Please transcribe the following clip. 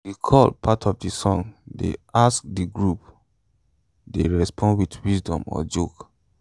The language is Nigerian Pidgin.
de call part of de song dey ask de group dey respond wit wisdom or joke